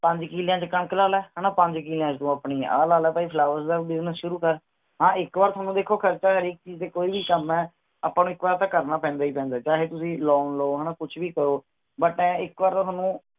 ਪੰਜ ਕਿਲਯਾ ਚ ਕਣਕ ਲਾ ਲੈ ਪੰਜ ਕਿਲਿਆਂ ਚ ਤੂੰ ਆਪਣੀ ਆਹ ਲਾ ਲੈ ਭਾਈ flowers ਦਾ business ਸ਼ੁਰੂ ਕਰ ਹਾਂ ਇਕ ਵਾਰ ਤੁਹਾਨੂ ਦੇਖੋ ਖਰਚਾ ਹਰ ਇਕ ਚੀਜ਼ ਚੇ ਕੋਈ ਵੀ ਕਾਮ ਐ ਅੱਪਾਂ ਨੂ ਇਕ ਵਾਰ ਤਾਂ ਕਰਨਾ ਪੈਂਦਾ ਹੀ ਪੈਂਦਾ ਚਾਹੇ ਤੁਸੀ loan ਲਾਓ ਕੁਛ ਵੀ ਕਾਰੋ